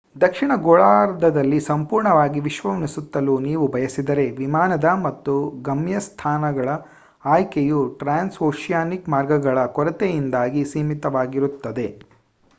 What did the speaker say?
ದಕ್ಷಿಣ ಗೋಳಾರ್ಧದಲ್ಲಿ ಸಂಪೂರ್ಣವಾಗಿ ವಿಶ್ವವನ್ನು ಸುತ್ತಲು ನೀವು ಬಯಸಿದರೆ ವಿಮಾನದ ಮತ್ತು ಗಮ್ಯಸ್ಥಾನಗಳ ಆಯ್ಕೆಯು ಟ್ರಾನ್ಸ್ಓಶಿಯಾನಿಕ್ ಮಾರ್ಗಗಗಳ ಕೊರತೆಯಿಂದಾಗಿ ಸೀಮಿತವಾಗಿರುತ್ತದೆ